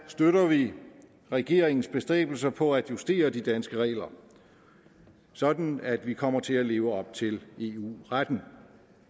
støtter vi regeringens bestræbelser på at justere de danske regler sådan at vi kommer til at leve op til eu retten